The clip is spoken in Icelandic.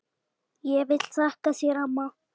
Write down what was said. Ég vil þakka þér amma.